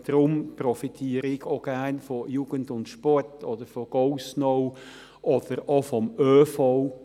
Deswegen profitiere ich auch gerne von Jugend + Sport oder von GoSnow oder auch vom ÖV.